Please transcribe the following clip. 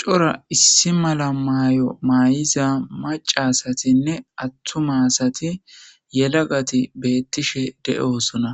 Cora issi mala maayo maayiza maca asathinne aththuma asathi yelagathi beeththishe de7oosona;